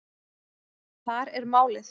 Þar er málið.